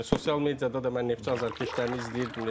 Yəni sosial mediada da mən Neftçi azarkeşlərini izləyirdim.